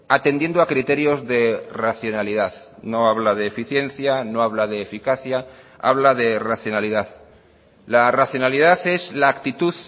atendiendo a criterios de racionalidad no habla de eficiencia no habla de eficacia habla de racionalidad la racionalidad es la actitud